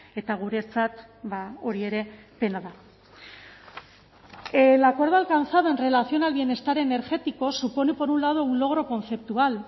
eta guretzat hori ere pena da el acuerdo alcanzado en relación al bienestar energético supone por un lado un logro conceptual